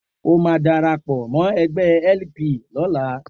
O máa darapọ̀ mọ́ ẹgbẹ́ LP lọ́la.